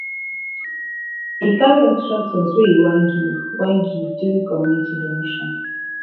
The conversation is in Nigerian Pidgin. e carry extra things wey e wan give wan give during community donation